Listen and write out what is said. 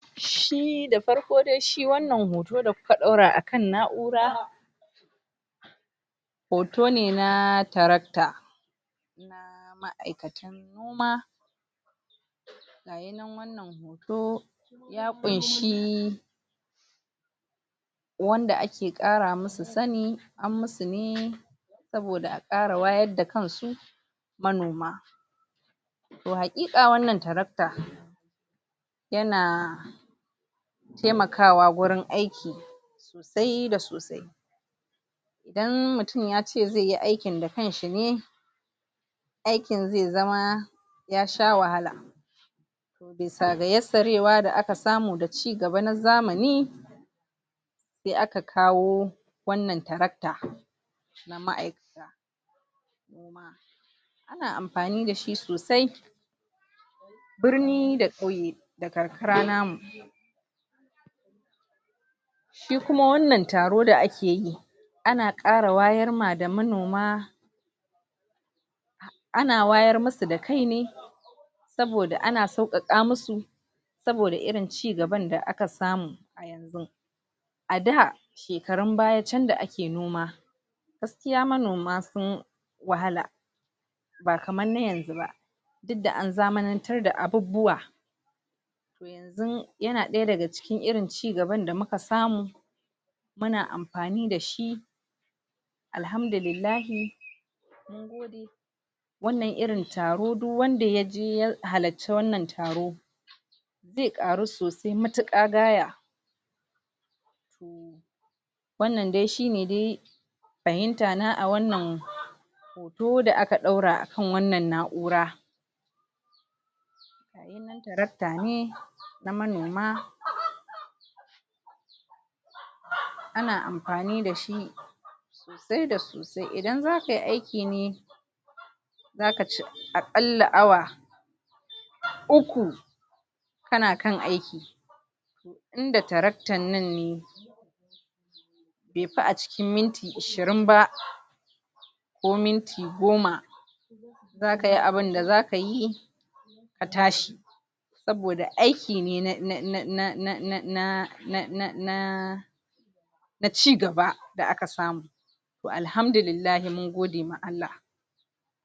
shi da farko dai shi wannan hoto da kuka daura akan na'ura hoto ne na tarakta na ma'aikatan kuma hoto ya kunshi Wanda ake kara musu Sani an musu ne saboda a kara wayar da kansu manoma. Toh hakika wannan tarakta yana yana taimakawa gurin aiki kia sosai idan mutun yace zeyi aikin da kanshi ne, aikin ze zama ya sha wahala bisa yassara da aka samu da cigaba na zamani, se aka kawo wannan tarakta na ma'aikatan ana amfani dashi sosai birni da kauye da karkara namu Shi Kuma wannan taro da ake yi ana kara wayar ma manoma ana wayen musu da kai ne saboda ana saukaka musu saboda irin cigaban da aka samu a da shekarun baya can da ake noma gaskiya manoma sun wahala ba kamar na yanzu ba duk da an zamanartar da abubuwa Toh yanzu yana daya daga cikin irin cigaban da muka samu Muna amfani dashi alhamdulillah wannan irin taro duk Wanda yaje ya hallaci wannan taro ze karu sosai matuka gaya wanadai shi ne dai fahimta na a wannan da aka daura a kan wannan na'ura tarakta ne manoma amfani dashi sosai idan zakayi aikin ne zakaci akalla awa uku kana aiki inda taraktan nan ne befi a cikin minti ashirin ba ko minti goma zakayi abinda zakayi na tashi saboda aiki ne um na um na na cigaba da aka samu toh alhamdulillah mun gode ma Allah.